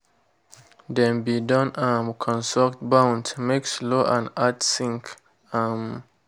dem be don um construct bunds make slow and add sink. um